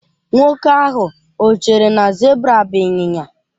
Nwoke ahụ o chere na zebra bụ ịnyịnya?